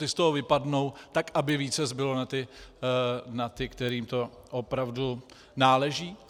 Ti z toho vypadnou, tak aby více zbylo na ty, kterým to opravdu náleží?